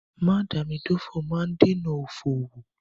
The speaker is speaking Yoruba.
Mádàámidófò máa ń dènà òfò owó.